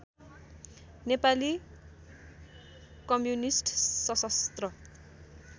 Nepali communist सशस्त्र